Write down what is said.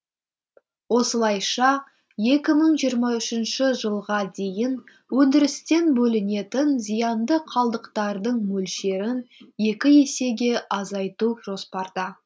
осылайша екі мың жиырма үшінші жылға дейін өндірістен бөлінетін зиянды қалдықтардың мөлшерін екі есеге азайту жоспарда